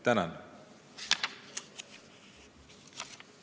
Tänan!